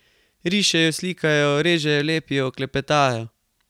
Rišejo, slikajo, režejo, lepijo, klepetajo.